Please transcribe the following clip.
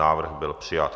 Návrh byl přijat.